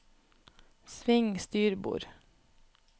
sving styrbord